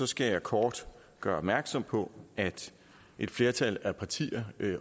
skal jeg kort gøre opmærksom på at et flertal af partier